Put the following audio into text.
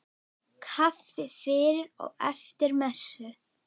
Kaffi fyrir og eftir messu.